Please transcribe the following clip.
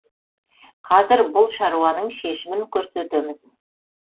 қазір бұл шаруаның шешімін көрсетеміз